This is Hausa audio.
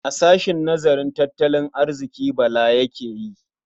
A sahshen nazarin tattalin arziƙi Bala yake yi.